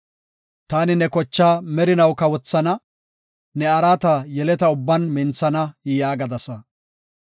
‘Taani ne kochaa merinaw kawothana; ne araata yeleta ubban minthana’ ” yaagadasa. Salaha